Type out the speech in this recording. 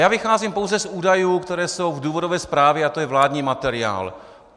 Já vycházím pouze z údajů, které jsou v důvodové zprávě, a to je vládní materiál.